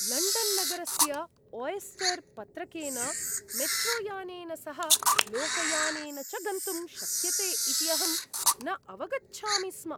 लण्डन्नगरस्य Oyster पत्रकेन मेट्रोयानेन सह लोकयानेन च गन्तुं शक्यते इति अहं न अवगच्छामि स्म ।